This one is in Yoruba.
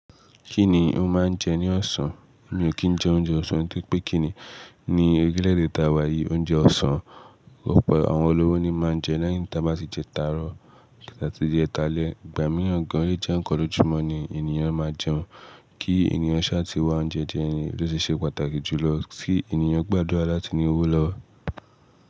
Kí ni ó máa ń jẹ ní ọ̀sán? Mi ò kí ń jẹ oúnjẹ ọ̀sán tori pé kí ni ní orílè èdè tá wà yí oúnjẹ ọ̀sán, ọ̀pọ̀ àwọn olówó ni máa ń jẹ leyin ta bá ti jẹ táro tàbí jẹ ta lẹ. Ìgbà mìíràn gan, o lẹ jẹ́ ekan lójú mọ́ ni ènìyàn máa jẹun. Kí ènìyàn ṣa ti wá oúnjẹ je ni ló se ṣe pàtàkì jù lọ, kí ènìyàn gbádùrà láti ní owó lọ́wọ́.